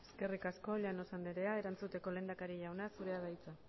eskerrik asko llanos andrea erantzuteko lehendakari jauna zurea da hitza